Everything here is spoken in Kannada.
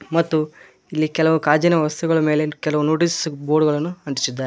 ಮತ್ತು ಇಲ್ಲಿ ಕೆಲವು ಕಾಜಿನ ವಸ್ತುಗಳ ಮೇಲೆ ಕೆಲವು ನೊಟೀಸ್ ಬೋರ್ಡ್ ಗಳನ್ನು ಅಂಟ್ಟಿಸಿದ್ದಾರೆ.